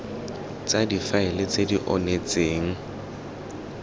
tsa difaele tse di onetseng